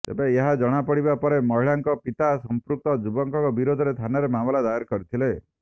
ତେବେ ଏହା ଜଣାପଡିବା ପରେ ମହିଳାଙ୍କ ପିତା ସଂପୃକ୍ତ ଯୁବକ ବିରୋଧରେ ଥାନାରେ ମାମଲା ଦାୟର କରିଥିଲେ